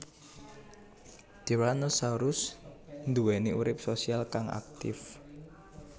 Tyrannosaurus duweni urip sosial kang aktif